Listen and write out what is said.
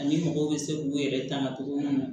Ani mɔgɔw bɛ se k'u yɛrɛ taŋa cogo min na